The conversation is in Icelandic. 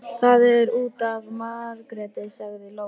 Það er út af Margréti, sagði Lóa.